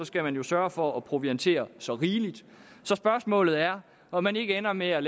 skal man jo sørge for at proviantere så rigeligt så spørgsmålet er om man ikke ender med at